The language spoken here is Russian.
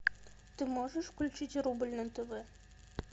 ты можешь включить рубль на тв